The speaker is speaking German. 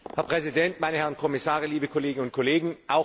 Herr Präsident, meine Herren Kommissare, liebe Kolleginnen und Kollegen!